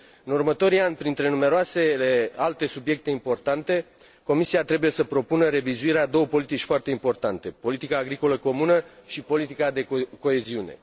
În următorii ani, printre numeroase alte subiecte importante, Comisia trebuie să propună revizuirea a două politici foarte importante politica agricolă comună și politica de coeziune.